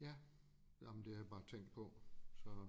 Ja jamen det har jeg bare tænkt på så